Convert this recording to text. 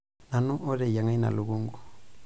Nanu oteyiang'a ina lukunku.